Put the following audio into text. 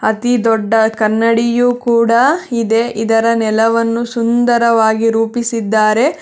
ಅತಿ ದೊಡ್ಡ ಕನ್ನಡಿಯು ಕೂಡ ಇದೆ ಇದರ ನೆಲವನ್ನು ಸುಂದರವಾಗಿ ರೂಪಿಸಿದ್ದಾರೆ.